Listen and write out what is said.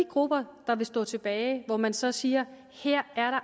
grupper der står tilbage og hvor man så siger at her er